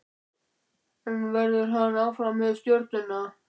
En verður hann áfram með Stjörnuna?